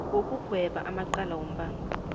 wokugweba amacala wombango